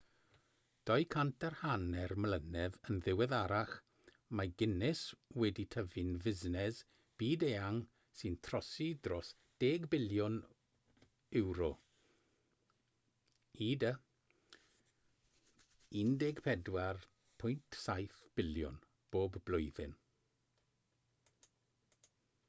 250 mlynedd yn ddiweddarach mae guinness wedi tyfu'n fusnes byd-eang sy'n trosi dros 10 biliwn ewro ud $14.7 biliwn bob blwyddyn